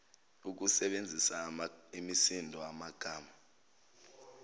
ukusebenzisa imisindo amagama